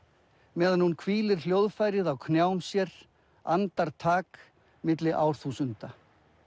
meðan hún hvílir hljóðfærið á knjám sér andartak milli árþúsunda